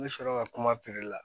N bɛ sɔrɔ ka kuma piri la